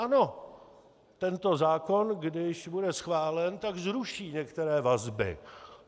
Ano, tento zákon, když bude schválen, tak zruší některé vazby.